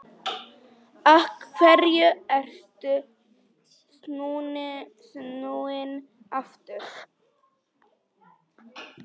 Af hverju ertu snúinn aftur?